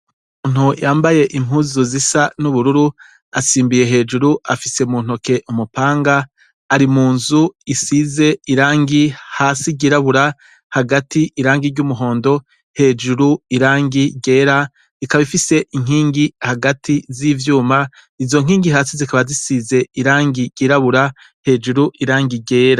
Umuntu yambaye impuzu zisa n'ubururu asimbiye hejuru afise muntoke umupanga arimunzu isize irangi hasi ryirabura hagati irangi ry'umuhondo hejuru irangi ryera; ikaba ifise inkingi hagati z'ivyuma. Izonkingi hasi zikaba zisize irangi ryirabura hejuru irangi ryera.